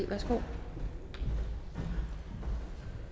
værsgo